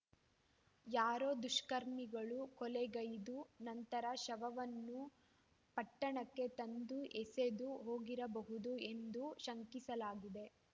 ಯಾರೋ ದುಷ್ಕರ್ಮಿಗಳು ಕೊಲೆಗೈದು ನಂತರ ಶವವನ್ನು ಪಟ್ಟಣಕ್ಕೆ ತಂದು ಎಸೆದು ಹೋಗಿರಬಹುದು ಎಂದು ಶಂಕಿಸಲಾಗಿದೆ